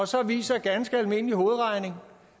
så viser ganske almindelig hovedregning